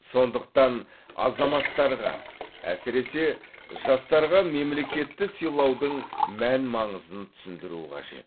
сондықтан азаматтарға әсіресе жастарға мемлекетті сыйлаудың мән маңызын түсіндіру қажет